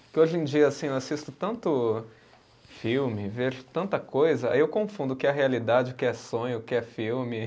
Porque hoje em dia, assim, eu assisto tanto filme, vejo tanta coisa, aí eu confundo o que é realidade, o que é sonho, o que é filme.